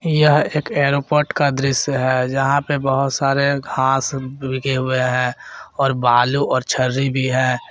यह एक एयरपोर्ट का दृश्य है जहां पे बहुत सारे घास भीगे हुए हैं और बालू और छर्री भी है।